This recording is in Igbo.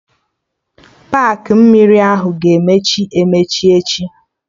Paakị mmiri ahụ ga-emechi emechi echi